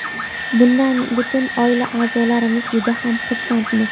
Bundan butun oila a’zolarimiz juda ham xursandmiz”.